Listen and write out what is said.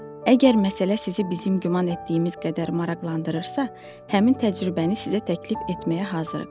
Əgər məsələ sizi bizim güman etdiyimiz qədər maraqlandırırsa, həmin təcrübəni sizə təklif etməyə hazırıq.